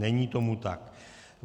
Není tomu tak.